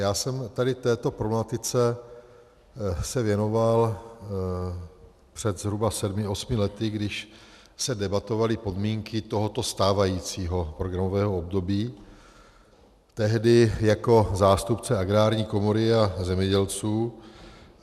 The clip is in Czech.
Já jsem tady této problematice se věnoval před zhruba sedmi, osmi lety, když se debatovaly podmínky tohoto stávajícího programového období, tehdy jako zástupce Agrární komory a zemědělců.